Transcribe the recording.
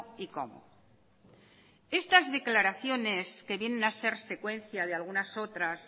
y cómo estas declaraciones que vienen a ser secuencia de algunas otras